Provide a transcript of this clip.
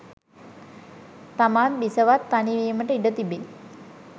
තමාත් බිසවත් තනි වීමට ඉඩ තිබේ